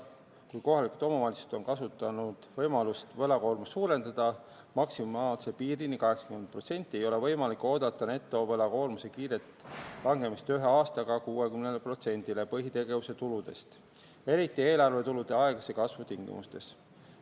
Kui kohalikud omavalitsused on kasutanud võimalust võlakoormust suurendada maksimaalse piirini , ei ole võimalik oodata netovõlakoormuse kiiret langemist ühe aastaga 60%-le põhitegevuse tuludest, eriti eelarvetulude aeglase kasvu tingimustes.